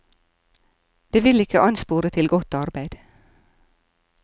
Det vil ikke anspore til godt arbeid.